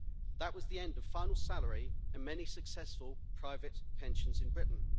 That was the end of final salary and many successful private pensions in Britain.